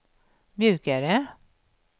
mjukare